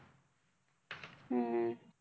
हम्म